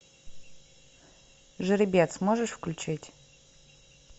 жеребец можешь включить